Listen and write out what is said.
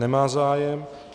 Nemá zájem.